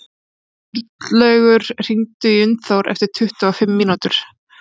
Sturlaugur, hringdu í Unnþór eftir tuttugu og fimm mínútur.